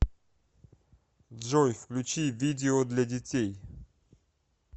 джой включи видео для детей